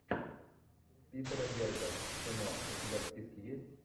питера берга кино у тебя в списке есть